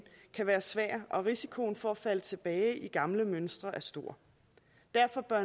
kan være svær og risikoen for at falde tilbage i gamle mønstre er stor derfor bør